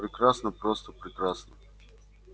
прекрасно просто прекрасно